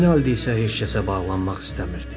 Rinaldi isə heç kəsə bağlanmaq istəmirdi.